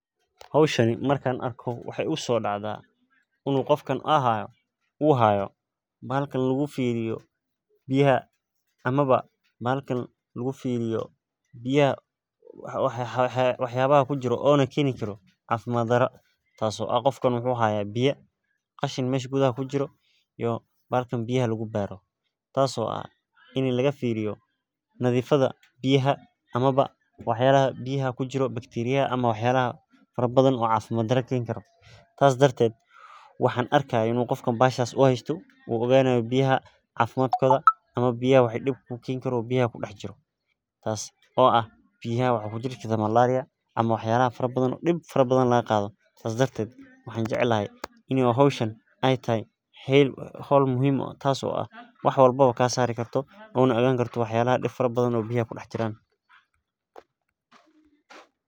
Howshan markan arko waxaa igusodacdaah in uu qofkan uu hayo bahalkan lugufiriyo biyaha ama ba bahalka lugufiriyo biyaha waxyabaha kujiro oo na keni karo cafimad dara, tas oo ah qofkan wuxu hayaa biya qashin mesh gudaha kujiro iyo bahalkan biyaha lugubaro, tas oo ah ini lagafiriyo nadifada biyaha amaba waxyalaha biyaha kujiro bakteriyaha ama wax yalaha fara bathan oo cafimad dara keni karo. Sas darted waxaan arki hay in uu qofkan bahashas uu haysto uu oganayo biyaha cafimadkoda ama biyaha wixi dib ku keni karo oo biyaha kudax jiro kujiro, tas oo ah biyaha waxaa kujiri kartaah malaria ama wax yalaha fara bathan oo dib fara bathan lagaqadho, sas darted waxaan jeclhy ini oo howshan ay tahay howl muhim u ah tas oo ah wax walbaba kasari karto ona ogan karto wax yalaha dib fara bathan oo biyaha kudax jiran